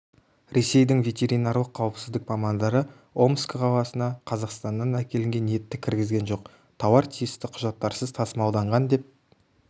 ресейдің ветеринарлық қауіпсіздік мамандары омск қаласына қазақстаннан әкелінген етті кіргізген жоқ тауар тиісті құжаттарсыз тасымалданған деп